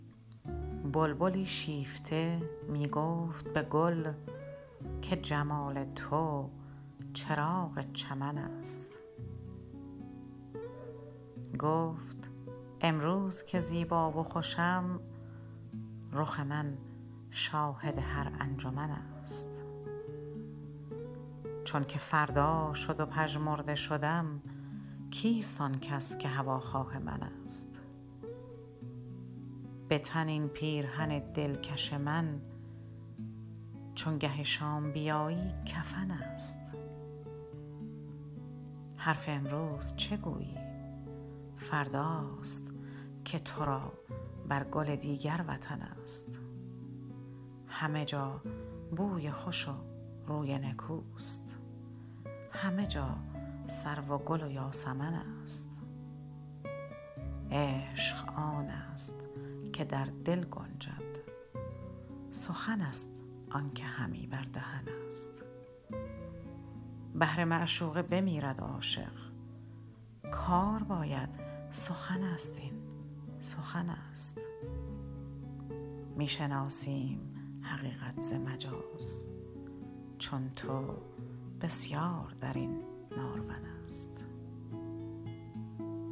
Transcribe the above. بلبلی شیفته میگفت به گل که جمال تو چراغ چمن است گفت امروز که زیبا و خوشم رخ من شاهد هر انجمن است چونکه فردا شد و پژمرده شدم کیست آنکس که هواخواه من است بتن این پیرهن دلکش من چو گه شام بیایی کفن است حرف امروز چه گویی فرداست که تو را بر گل دیگر وطن است همه جا بوی خوش و روی نکوست همه جا سرو و گل و یاسمن است عشق آنست که در دل گنجد سخن است آنکه همی بر دهن است بهر معشوقه بمیرد عاشق کار باید سخن است این سخن است میشناسیم حقیقت ز مجاز چون تو بسیار درین نارون است